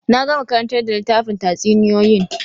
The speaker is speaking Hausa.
Na gama karantar da littafin tatsuniyoyin